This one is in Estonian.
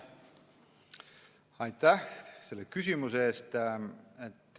Aitäh selle küsimuse eest!